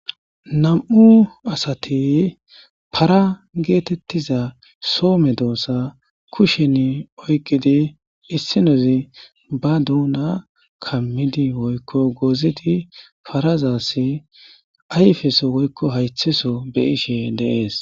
nam'u asati para geetettiza soome doossa kushen oyqidi issinozi ba duuna kammidi woykko goozidi parazassi ayfeso woykko haythiso be ishe de'es